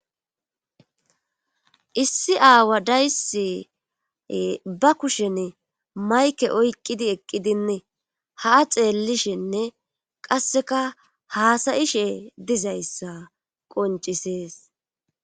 Issi aawa dayse ba kushen mayke oyqqidi eqqidinne haa xeellishenne qasseka haasayishe dizayssa qoncisees.